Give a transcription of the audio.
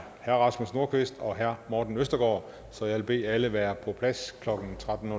herre rasmus nordqvist og herre morten østergaard så jeg vil bede alle være på plads klokken tretten